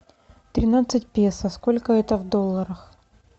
тринадцать песо сколько это в долларах